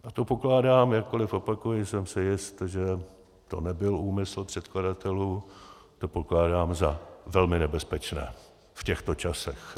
A to pokládám - jakkoliv, opakuji, jsem si jist, že to nebyl úmysl předkladatelů - to pokládám za velmi nebezpečné v těchto časech.